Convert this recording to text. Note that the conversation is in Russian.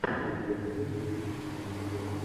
у тебя найдется фильм мария белло